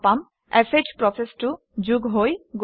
শ প্ৰচেচটো যোগ হৈ গৈছে